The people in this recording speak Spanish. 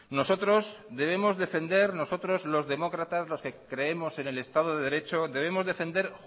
nosotros los demócratas los que creemos en el estado de derecho debemos defender